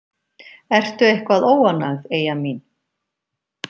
Ertu eitthvað óánægð, Eyja mín?